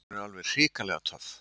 Hún er alveg hrikalega töff.